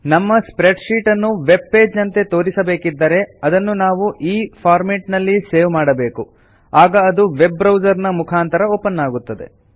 ನಮ್ಮ spread sheet ಅನ್ನು web page ನಂತೆ ತೋರಿಸಬೇಕಿದ್ದರೆ ನಾವು ಅದನ್ನು ಈ ಫಾರ್ಮೆಟ್ ನಲ್ಲಿ ಸೇವ್ ಮಾಡಬೇಕು ಆಗ ಅದು ವೆಬ್ ಬ್ರೌಸರ್ ನ ಮುಖಾಂತರ ಓಪನ್ ಆಗುತ್ತದೆ